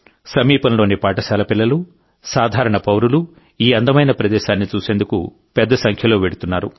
సమీపంలోని పాఠశాలల పిల్లలు సాధారణ పౌరులు ఈ అందమైన ప్రదేశాన్ని చూసేందుకు పెద్ద సంఖ్యలో వెళ్తున్నారు